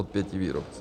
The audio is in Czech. Od pěti výrobců.